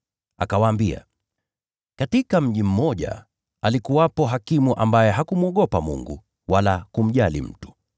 Akawaambia, “Katika mji mmoja alikuwepo hakimu ambaye hakumwogopa Mungu wala kumjali mtu.